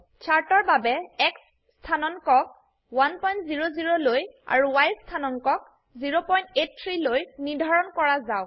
চাৰ্টৰ বাবে X স্থানাঙ্কক 100লৈ আৰু Y স্থানাঙ্কক 083লৈ নিৰ্ধাৰণ কৰা যাওক